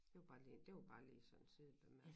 Det var bare lige en det var bare sådan en sidebemærkning